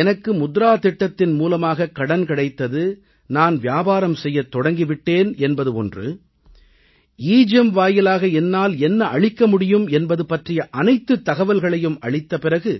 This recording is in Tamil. எனக்கு முத்ரா திட்டத்தின் மூலமாகக் கடன் கிடைத்தது நான் வியாபாரம் செய்யத் தொடங்கி விட்டேன் என்பது ஒன்று எகெம் வாயிலாக என்னால் என்ன அளிக்க முடியும் என்பது பற்றிய அனைத்துத் தகவல்களையும் அளித்த பிறகு